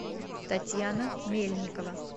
татьяна мельникова